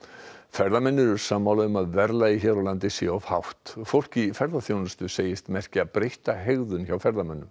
ferðamenn eru sammála um að verðlagið hér á landi sé of hátt fólk í ferðaþjónustu segist merkja breytta hegðun hjá ferðamönnum